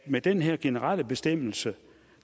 med den her generelle bestemmelse